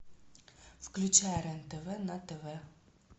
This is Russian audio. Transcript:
включай рен тв на тв